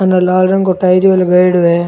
उनने लाल रंग को टायरियों लगायेडॉ है।